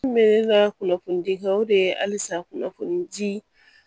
N bɛ la kunnafoni di kɛ o de ye halisa kunnafoni di